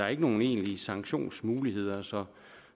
er nogen egentlige sanktionsmuligheder så